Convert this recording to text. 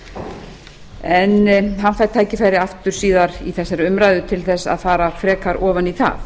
framtíðar en hann fær tækifæri aftur síðar í þessari umræðu til að fara frekar ofan í það